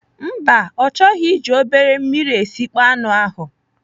Mba, ọ chọghị iji obere mmiri esịkpo anụ ahụ.